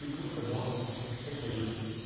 фигурка норм жопа есть